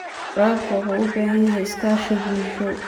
Waraabka wuxuu u baahan yahay iskaashi bulsho.